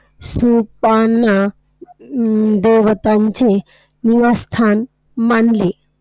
स्तुपांना अं देवतांचे निवासस्थान मानले.